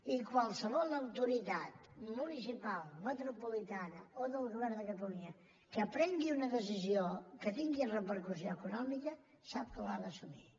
i qualsevol autoritat municipal metropolitana o del govern de catalunya que prengui una decisió que tingui repercussió econòmica sap que l’ha d’assumir